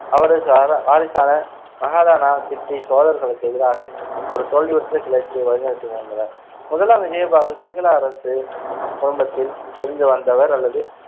அவரது அத்~ வாரிசான மஹாலானா கிட்டி சோழர்களுக்கு எதிராக ஒரு தோல்வியுற்ற கிளர்ச்சியை வழிநடத்த முயன்றனர் முதலாம் விஜயபாகு சிங்கள அரசு குடும்பத்தில் இருந்து வந்தவர் அல்லது